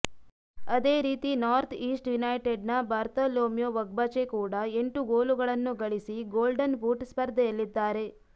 ಅದೇ ರೀತಿ north east ಯುನೈಟೆಡ್ನ ಬಾರ್ತಲೋಮ್ಯೊ ಒಗ್ಬಚೆ ಕೂಡ ಎಂಟು ಗೋಲುಗಳನ್ನು ಗಳಿಸಿ ಗೋಲ್ಡನ್ ಬೂಟ್ ಸ್ಪರ್ಧೆಯಲ್ಲಿದ್ದಾರೆ